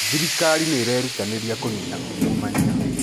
Thirikari nĩ irerutanĩria kũniina ungumania.